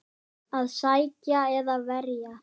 Að sækja eða verja?